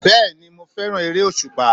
Bẹ́ẹ̀ni mo fẹ́ràn eré òsùpá